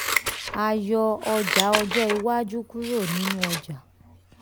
a yọ ọjà ọjọ́ iwájú kúrò nínú ọjà.